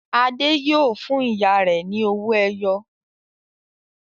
Adé yóò fún ìyá rẹ̀ ní owó-ẹyọ!